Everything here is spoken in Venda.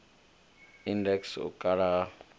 index u kala ha u